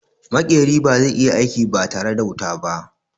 Maƙeri ba zai iya aiki ba tare da wuta ba.